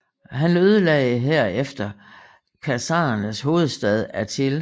Han ødelagde herefter khazarernes hovedstad Atil